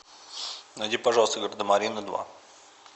найди пожалуйста гардемарины два